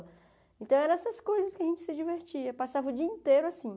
Então eram essas coisas que a gente se divertia, passava o dia inteiro assim.